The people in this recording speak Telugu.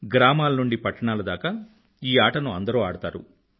గ్రామాల నుండీ పట్టణాల దాకా ఈ ఆటను అందరూ ఆడతారు